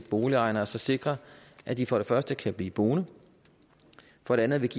boligejerne og sikrer at de for det første kan blive boende for det andet